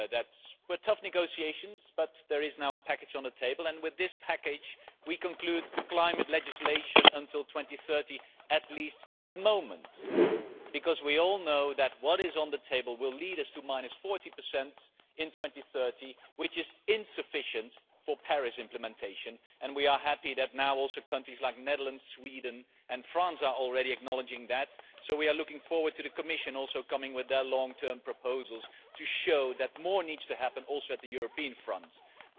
They were tough negotiations but there is now a package on the table, and with this package we conclude the climate legislation until 2030 at least for the moment, because we all know that what is on the table will lead us to minus 40 in 2030, which is insufficient for the Paris implementation. We are happy that countries like the Netherlands, Sweden and France are already acknowledging that, and so we look forward to the Commission also coming forward with its long-term proposals to show that more needs to happen at the European front also.